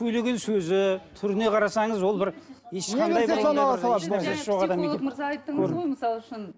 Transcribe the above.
сөйлеген сөзі түріне қарасаңыз ол бір ешқандай психолог мырза айттыңыз ғой мысалы үшін